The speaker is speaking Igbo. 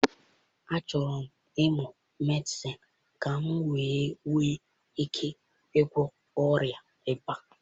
Achọrọ m ịmụ Medịsịn ka m wee nwee ike ịgwọ ọrịa ịba.